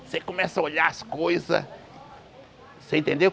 Você começa a olhar as coisas, você entendeu?